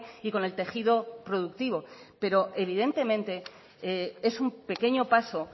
y con el tejido productivo pero evidentemente es un pequeño paso